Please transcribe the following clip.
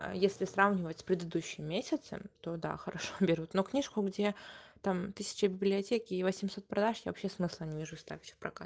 а если сравнивать с предыдущим месяцем то да хорошо берут но книжку где там тысяча в библиотеке и восемьсот продаж я вообще смысла не вижу ставить в прокат